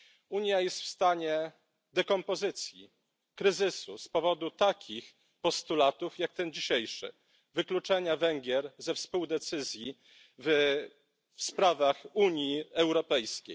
Unia jest w stanie dekompozycji, kryzysu, z powodu takich postulatów jak ten dzisiejszy, czyli postulatu wykluczenia Węgier ze współdecyzji w sprawach Unii Europejskiej.